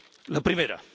La primera.